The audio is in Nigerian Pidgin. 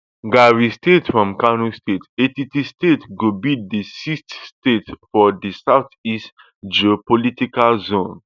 ghari state from kano state etiti state go be di sixth state for di south east geopolitical zone